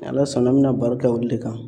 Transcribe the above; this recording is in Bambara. Ni Ala sɔnna ,an be na baro kɛ olu de kan.